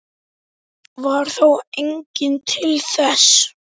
Varð þá enginn til þess.